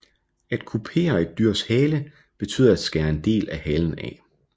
At kupere et dyrs hale betyder at skære en del af halen af